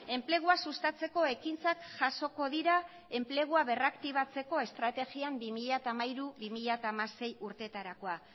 enplegua sustatzeko ekintzak jasoko dira enplegua berraktibatzeko estrategian bi mila hamairu bi mila hamasei urteetarakoa